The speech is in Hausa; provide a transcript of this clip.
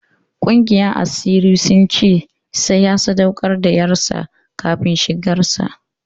Ƙungiyar asirin sun ce sai ya sadaukar da ƴarsa kafin shigar sa.